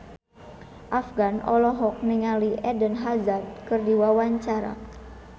Afgan olohok ningali Eden Hazard keur diwawancara